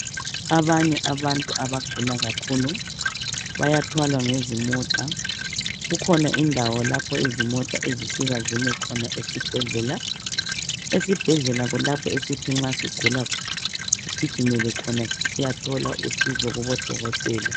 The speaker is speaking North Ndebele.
Abanye abantu abagula kakhulu bayathwala ngezimota kukhona indawo lapho izimota ezifika zime khona esibhedlela. Esibhedlela kulapho esithi nxa sigula sigimele khona sisiyathola usizo kubodokotela.